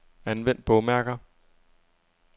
Anvend bogmærker.